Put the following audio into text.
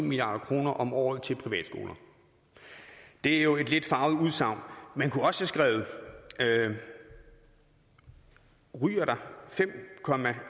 milliard kroner om året til privatskoler det er jo et lidt farvet udsagn man kunne også have skrevet ryger der fem